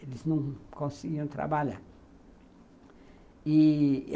eles não conseguiam trabalhar e